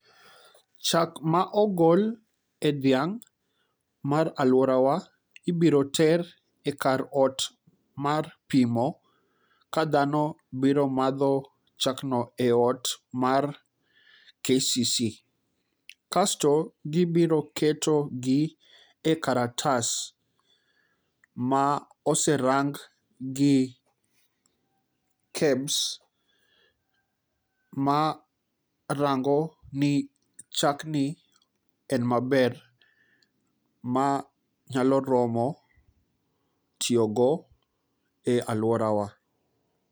chak ma ogol e dhiang mar aluorawa ibiro ter e ot mar pimo ka dhano biro madho chak no mar kcc kasto gibiro keto gi e kalatas ma oserang' gi kebs ma rang'o ni chak no en maber ma nyalo romo tiyo go e aluorawa